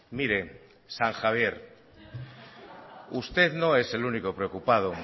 mire san javier usted no es el único preocupado